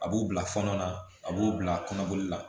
A b'u bila fɔɔnɔ na a b'o bila kɔnɔboli la